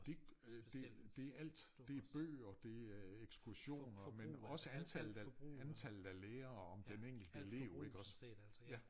Det øh det det alt det bøger det er eksursioner men også antallet antallet af af lærere om den enkelte elev iggås ja